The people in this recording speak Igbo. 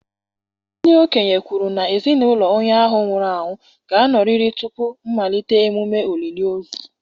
Ndị okenye kwuru na ezinụlọ onye ahụ nwụrụ anwụ ga-anọrịrị tupu mmalite emume olili ozu